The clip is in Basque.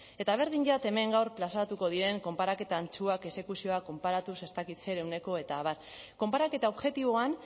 eta berdin zait hemen gaur plazaratuko diren konparaketa antzuak exekuzioa konparatuz ez dakit zer ehuneko eta abar konparaketa objektiboan